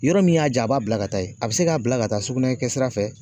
Yɔrɔ min y'a ja a b'a bila ka taa yen. A be se ka bila ka taa sugunɛ kɛ sira fɛ